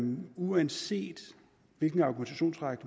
uanset hvilken argumentationsrække